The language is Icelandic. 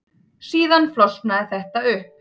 Síðan flosnaði þetta upp.